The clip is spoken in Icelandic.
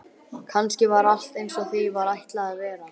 Kannski var allt einsog því var ætlað að vera.